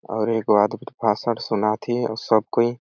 और एगो आदमी भाषण सुनाथे और सब कोई--